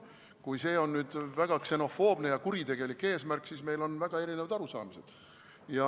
Kui see on väga ksenofoobne ja kuritegelik eesmärk, siis meil on väga erinevad arusaamad.